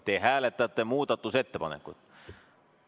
Te hääletate muudatusettepanekut.